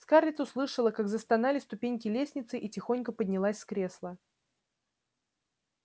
скарлетт услышала как застонали ступеньки лестницы и тихонько поднялась с кресла